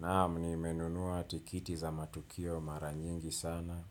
Naam nimenunua tikiti za matukio mara nyingi sana